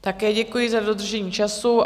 Také děkuji za dodržení času.